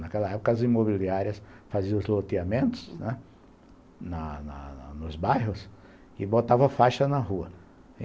Naquela época, as imobiliárias faziam os loteamentos, né, na na nos bairros e botavam faixas na rua.